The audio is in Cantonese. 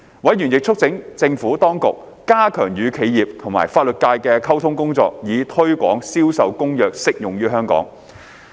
委員亦促請政府當局加強與企業及法律界的溝通工作，以推廣將《銷售公約》適用於香港。